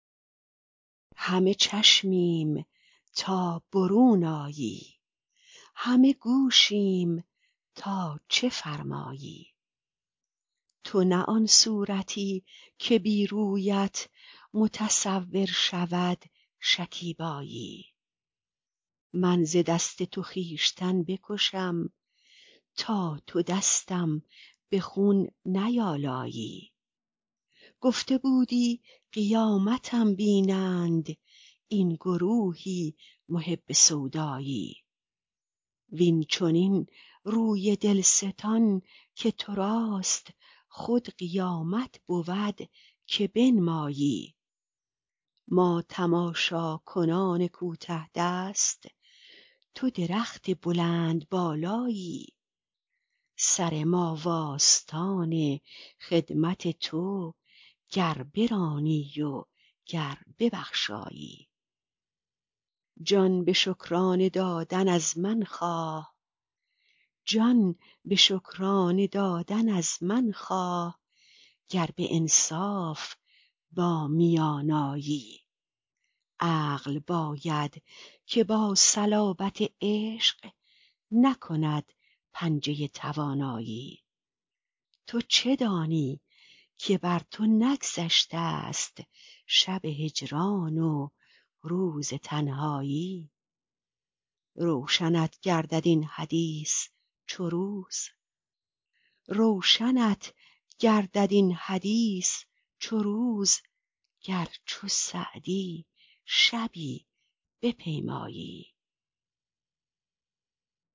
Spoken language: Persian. همه چشمیم تا برون آیی همه گوشیم تا چه فرمایی تو نه آن صورتی که بی رویت متصور شود شکیبایی من ز دست تو خویشتن بکشم تا تو دستم به خون نیآلایی گفته بودی قیامتم بینند این گروهی محب سودایی وین چنین روی دل ستان که تو راست خود قیامت بود که بنمایی ما تماشاکنان کوته دست تو درخت بلندبالایی سر ما و آستان خدمت تو گر برانی و گر ببخشایی جان به شکرانه دادن از من خواه گر به انصاف با میان آیی عقل باید که با صلابت عشق نکند پنجه توانایی تو چه دانی که بر تو نگذشته ست شب هجران و روز تنهایی روشنت گردد این حدیث چو روز گر چو سعدی شبی بپیمایی